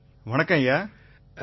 நிதீஷ் குப்தா வணக்கம் ஐயா